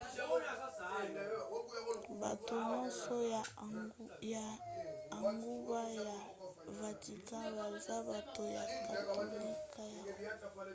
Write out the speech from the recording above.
bato nyonso ya engumba ya vatican baza bato ya katolika ya roma